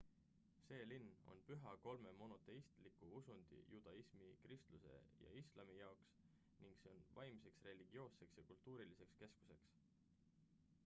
see linn on püha kolme monoteistliku usundi judaismi kristluse ja islami jaoks ning see on vaimseks religioosseks ja kultuuriliseks keskuseks